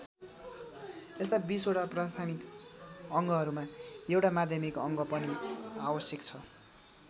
यस्ता २० वटा प्राथमिक अङ्गहरूमा एउटा माध्यमिक अङ्ग पनि आवश्यक छ।